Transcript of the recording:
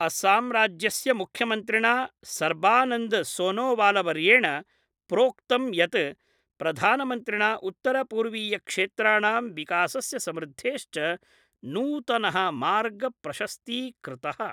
असमराज्यस्य मुख्यमन्त्रिणा सर्बानन्द सोनोवालवर्येण प्रोक्तं यत् प्रधानमन्त्रिणा उत्तरपूर्वीय क्षेत्राणां विकासस्य समृद्धेश्च नूतन: मार्ग प्रशस्ती कृत:।